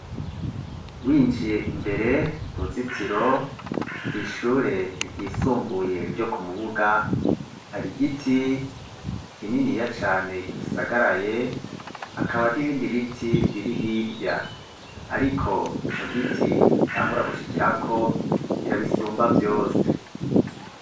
Winjiye imbere mu ruzitiro kw' ishure ry'isumbuye ryo ku Mubuga, hari igiti kininiya cane gisagaraye, hakaba n'ibindi biti biri hirya, ariko ico giti utangura gushikirako kirabisumba vyose.